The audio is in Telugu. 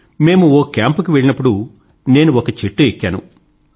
మేము ఒక కేంప్ కి వెళ్లినప్పుడు నేను ఒక చెట్టు ఎక్కాను